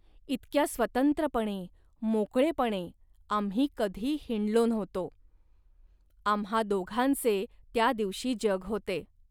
इतक्या स्वतंत्रपणे, मोकळेपणे, आम्ही कधी हिंडलो नव्हतो. आम्हां दोघांचे त्या दिवशी जग होते